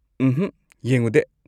ꯎꯝꯍꯛ, ꯌꯦꯡꯉꯨꯗꯦ꯫